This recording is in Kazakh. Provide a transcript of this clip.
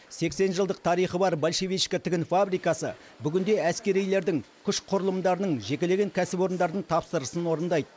сексен жылдық тарихы бар большевичка тігін фабрикасы бүгінде әскерилердің күш құрылымдарының жекелеген кәсіпорындардың тапсырысын орындайды